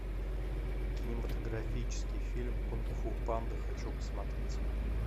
кинематографический фильм кунг фу панда хочу посмотреть